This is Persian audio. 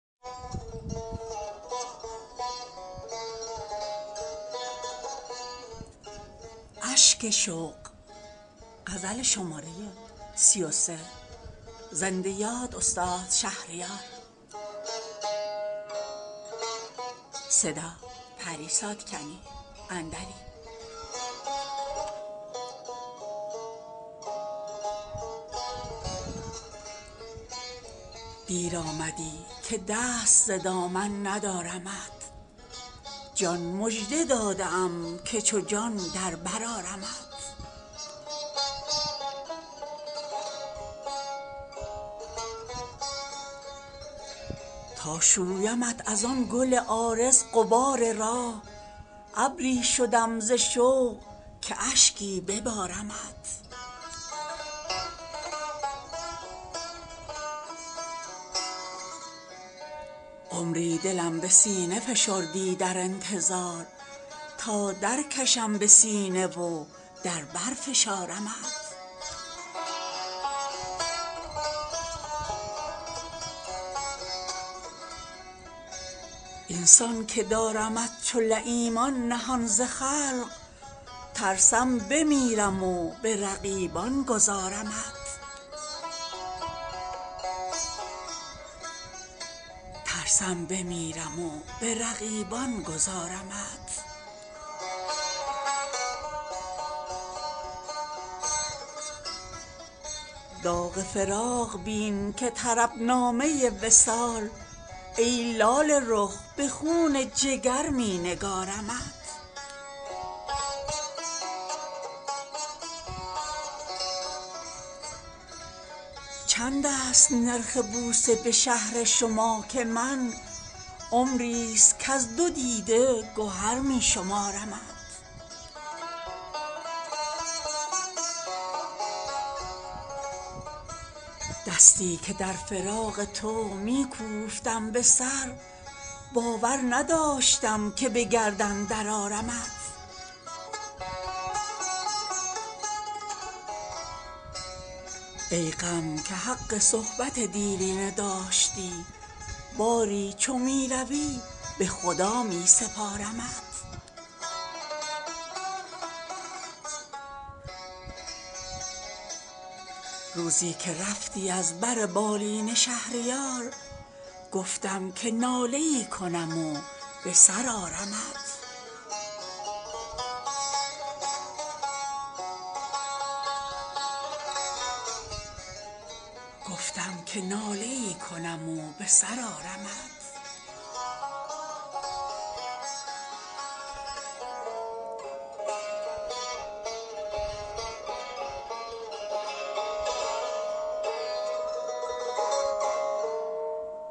دیر آمدی که دست ز دامن ندارمت جان مژده داده ام که چو جان در بر آرمت تا شویمت از آن گل عارض غبار راه ابری شدم ز شوق که اشکی ببارمت عمری دلم به سینه فشردی در انتظار تا درکشم به سینه و در بر فشارمت این سان که دارمت چو لییمان نهان ز خلق ترسم بمیرم و به رقیبان گذارمت داغ فراق بین که طرب نامه وصال ای لاله رخ به خون جگر می نگارمت چند است نرخ بوسه به شهر شما که من عمری است کز دو دیده گهر می شمارمت دستی که در فراق تو می کوفتم به سر باور نداشتم که به گردن درآرمت ای غم که حق صحبت دیرینه داشتی باری چو می روی به خدا می سپارمت از جویبار چشم ترم سایه وامگیر تا چون مژه نهال تفرج بکارمت روزی که رفتی از بر بالین شهریار گفتم که ناله ای کنم و بر سر آرمت